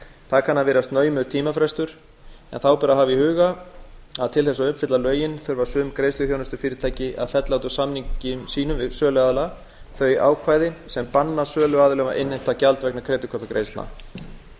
það kann að virðast naumur tímafrestur hafa ber í huga að til þess að uppfylla lögin þurfa sum greiðsluþjónustufyrirtæki að fella út úr samningum sínum við söluaðila þau ákvæði sem banna söluaðilum að innheimta gjald vegna kreditkortagreiðslna